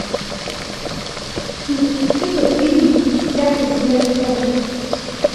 запусти ка фильм вся президентская рать